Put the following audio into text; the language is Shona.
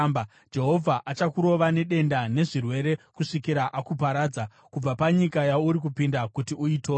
Jehovha achakurova nedenda nezvirwere kusvikira akuparadza kubva panyika yauri kupinda kuti uitore.